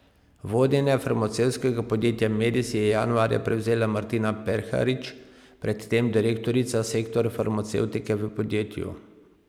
Vodenje farmacevtskega podjetja Medis je januarja prevzela Martina Perharič, pred tem direktorica sektorja farmacevtike v podjetju.